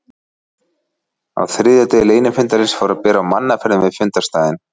Á þriðja degi leynifundarins fór að bera á mannaferðum við fundarstaðinn.